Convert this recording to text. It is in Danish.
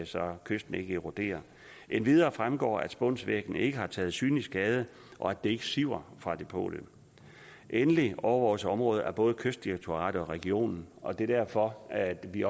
så kysten ikke eroderer endvidere fremgår det at spunsvæggen ikke har taget synlig skade og at det ikke siver fra depotet endelig overvåges området af både kystdirektoratet og regionen og der er derfor at vi